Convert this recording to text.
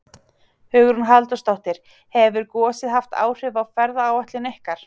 Hugrún Halldórsdóttir: Hefur gosið haft áhrif á ferðaáætlun ykkur?